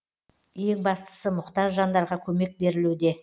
ең бастысы мұқтаж жандарға көмек берілуде